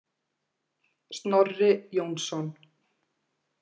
Snorri Jónsson.